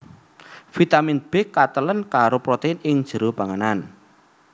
Vitamin B katalèn karo protein ing jero panganan